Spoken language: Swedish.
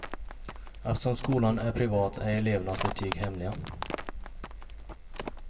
Eftersom skolan är privat är elevernas betyg hemliga.